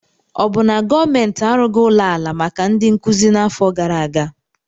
Ọ bụ na gọọmentị arụghị ụlọ ala maka ndị nkuzi n'afọ gara aga?